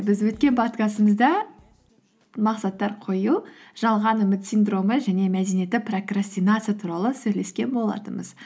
біз өткен подкастымызда мақсаттар қою жалған үміт синдромы және мәдениетті прокрастинация туралы сөйлескен болатынбыз